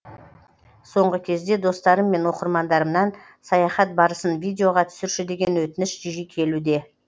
соңғы кезде достарым мен оқырмандарымнан саяхат барысын видеоға түсірші деген өтініш жиі келуде